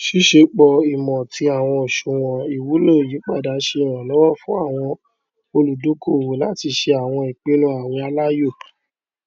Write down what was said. ṣíṣepọ ìmọ ti àwọn oṣùwòn ìwúlò ìyípadà ṣe ìrànlọwọ fún àwọn olùdókòowó láti ṣe àwọn ìpinnu àwìn aláyọ